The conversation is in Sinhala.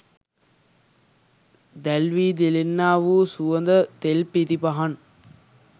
දැල්වී දිලෙන්නා වූ සුවඳ තෙල් පිරි පහන්